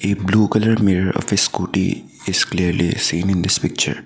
a blue colour mirror of a scooty is clearly seen in this picture.